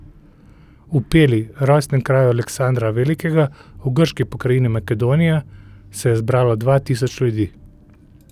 V Peli, rojstnem kraju Aleksandra Velikega v grški pokrajini Makedonija, se je zbralo dva tisoč ljudi.